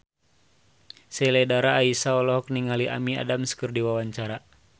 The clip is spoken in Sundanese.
Sheila Dara Aisha olohok ningali Amy Adams keur diwawancara